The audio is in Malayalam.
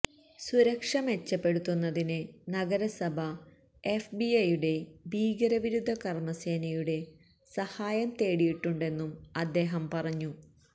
സുരക്ഷ മെച്ചപ്പെടുത്തുന്നതിന് നഗരസഭ എഫ്ബിഐയുടെ ഭീകരവിരുദ്ധ കര്മ സേനയുടെ സഹായം തേടിയിട്ടുണ്ടെന്നും അദ്ദേഹം പറഞ്ഞു